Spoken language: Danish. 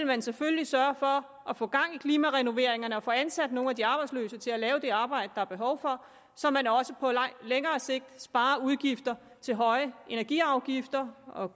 man selvfølgelig sørge for at få gang i klimarenoveringerne og få ansat nogle af de arbejdsløse til at lave det arbejde der er behov for så man også på længere sigt sparer udgifter til høje energiafgifter og